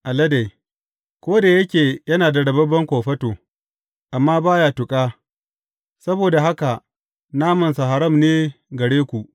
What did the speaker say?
Alade, ko da yake yana da rababben kofato, amma ba ya tuƙa, saboda haka namansa haram ne gare ku.